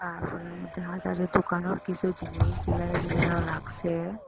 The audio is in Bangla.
মধ্যে হাজারে দোকানের কিসু জিনিস ঝুলাইয়া ঝুলাইয়াও রাখসে।